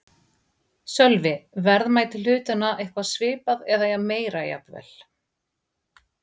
Sölvi: Verðmæti hlutanna eitthvað svipað eða meira jafnvel?